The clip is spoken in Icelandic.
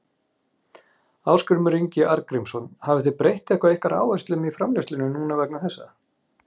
Ásgrímur Ingi Arngrímsson: Hafið þið breytt eitthvað ykkar áherslum í framleiðslunni núna vegna þessa?